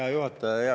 Hea juhataja!